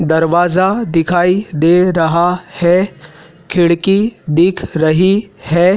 दरवाज़ा दिखाई दे रहा है खिड़की दिख रही है।